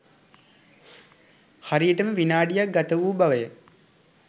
හරියටම විනාඩික් ගත වූ බවය